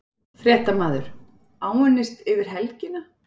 Fréttamaður:. áunnist yfir helgina?